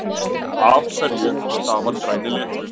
Af hverju stafar græni liturinn?